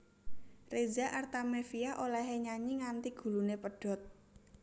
Reza Artamevia olehe nyanyi nganti gulune pedhot